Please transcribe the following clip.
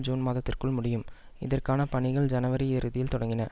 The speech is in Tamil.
ஜூன் மாதத்திற்குள் முடியும் இதற்கான பணிகள் ஜனவரி இறுதியில் தொடங்கின